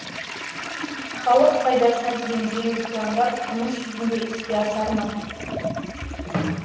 халық пайдасына деген жеңіл пландар тұрмыс жүзінде іске асар ма